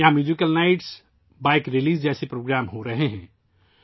یہاں musical night, bike ریلیاں جیسے پروگرام ہو رہے ہیں